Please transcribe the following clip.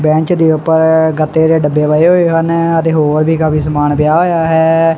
Bench ਦੇ ਉਪਰ ਗੱਤੇ ਦੇ ਡੱਬੇ ਪਏ ਹੋਏ ਹਨ ਅਤੇ ਹੋਰ ਵੀ ਕਾਫੀ ਸਮਾਨ ਪਿਆ ਹੋਇਆ ਹੈ।